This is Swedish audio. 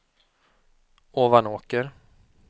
Ovanåker